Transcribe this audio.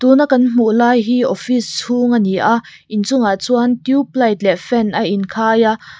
tun a kan hmuh lai hi office chhung a ni a inchungah chuan tube light leh fan a inkhai a.